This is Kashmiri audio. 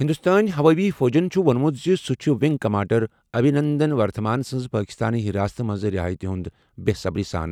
ہِنٛدوستٲنۍ ہوٲیی فوجَن چُھ ووٚنمُت زِ سُہ چُھ وِنٛگ کَمانٛڈر اَبھِنندن ورتھمان سٕنٛزِ پٲکِستٲنہِ حِراستہٕ منٛزٕ رِہٲیی ہُنٛد بے صبری سان